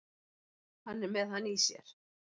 Hann er með hann í sér.